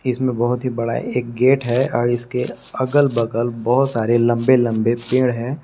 इसमें बहोत ही बड़ा एक गेट है आ इसके अगल बगल बहोत सारे लंबे लंबे पेड़ है।